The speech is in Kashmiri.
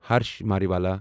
ہرش ماریوالا